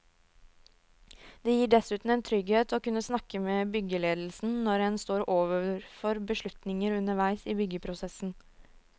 Det gir dessuten en trygghet å kunne snakke med byggeledelsen når en står overfor beslutninger underveis i byggeprosessen.